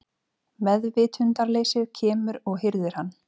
Meðvitundarleysið kemur og hirðir hann.